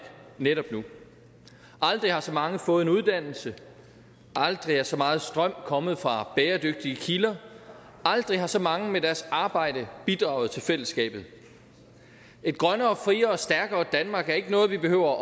netop nu aldrig har så mange fået en uddannelse aldrig er så meget strøm kommet fra bæredygtige kilder aldrig har så mange med deres arbejde bidraget til fællesskabet et grønnere og friere og stærkere danmark er ikke noget vi behøver